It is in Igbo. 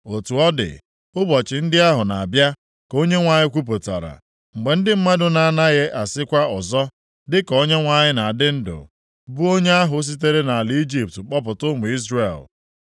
“Otu ọ dị, ụbọchị ndị ahụ na-abịa,” ka Onyenwe anyị kwupụtara, “mgbe ndị mmadụ na-agaghị asịkwa ọzọ, + 16:14 Ejikwa ụdị okwu ndị a malite ịṅụ iyi ha ‘Dịka Onyenwe anyị na adị ndụ, bụ onye ahụ sitere nʼala Ijipt kpọpụta ụmụ Izrel.’